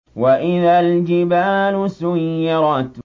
وَإِذَا الْجِبَالُ سُيِّرَتْ